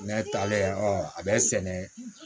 Ne talen a bɛ sɛnɛ